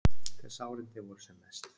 Þegar sárindin voru sem mest.